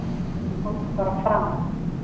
"""KOMDU BARA FRAM,"""